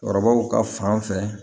Cɛkɔrɔbaw ka fan fɛ